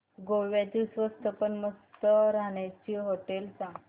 गोव्यातली स्वस्त पण मस्त राहण्याची होटेलं सांग